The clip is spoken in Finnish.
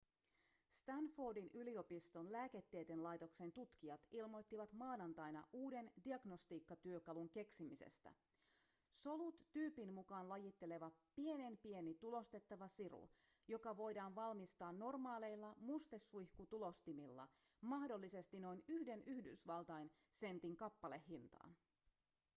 stanfordin yliopiston lääketieteen laitoksen tutkijat ilmoittivat maanantaina uuden diagnostiikkatyökalun keksimisestä solut tyypin mukaan lajitteleva pienenpieni tulostettava siru joka voidaan valmistaa normaaleilla mustesuihkutulostimilla mahdollisesti noin yhden yhdysvaltain sentin kappalehintaan